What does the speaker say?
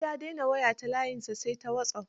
Yanzu ya dena waya ta layinsa, sai ta wasop.